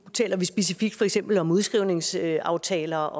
taler vi specifikt om for eksempel udskrivningsaftaler